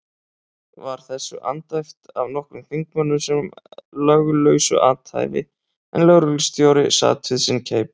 Var þessu andæft af nokkrum þingmönnum sem löglausu athæfi, en lögreglustjóri sat við sinn keip.